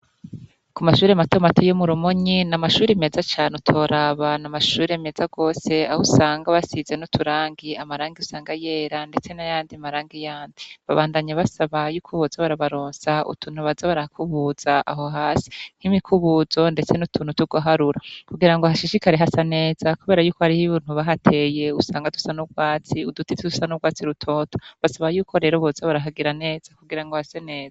Ku mashuri matomati yo murumonyi na amashuri meza cane utoraba na amashuri meza rwose aho usanga basize n'uturangiy amaranga iusanga yera, ndetse nayandi maranga yandi babandanya basa ba yuko uboza barabaronsa utuntu baza barakubuza aho hasi nk'imikubuzo, ndetse n'utuntu tugoharura kugira ngo hashishikari hasa neza kobera yuko hariho buntu bahateye usanga dusa n'urwatsi udutivi dusa n'urwatsi rutoto basaba yuko rero botse barahagira neza kugira ngo hase neza.